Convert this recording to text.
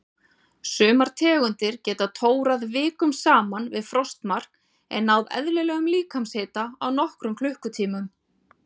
Sumar tegundir geta tórað vikum saman við frostmark en náð eðlilegum líkamshita á nokkrum klukkutímum.